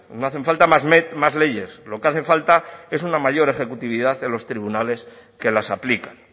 no hacen falta más leyes lo que hace falta es una mayor ejecutividad en los tribunales que las aplican